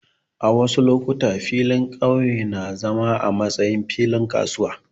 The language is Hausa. A wasu lokuta, filin ƙauye na zama a matsayin filin kasuwa.